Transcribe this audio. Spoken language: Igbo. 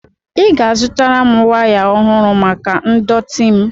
Ị ga-azụtara m waya ọhụrụ maka ndọtị m.